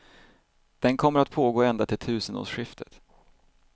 Den kommer att pågå ända till tusenårsskiftet.